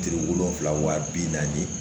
Kile wolonfila wa bi naani ye